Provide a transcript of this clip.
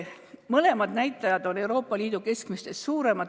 Mõlemad näitajad on meil Euroopa Liidu keskmisest suuremad.